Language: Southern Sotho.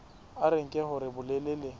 a re nke hore bolelele